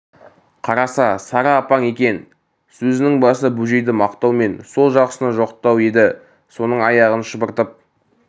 қараса сары апаң екен сезінің басы бөжейді мақтау мен сол жақсыны жоқтау еді соның аяғын шұбыртып